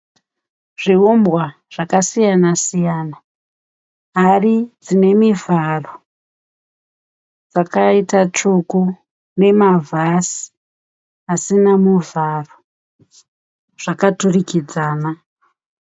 Zviumbwa zvakasiyana siyana. Hari dzinemivharo dzakaita tsvuku. Nemavhasi asina mucharo zvakaturikidzana.